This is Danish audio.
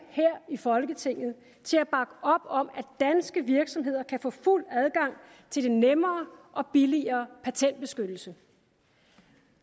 i folketinget til at bakke op om at danske virksomheder kan få fuld adgang til den nemmere og billigere patentbeskyttelse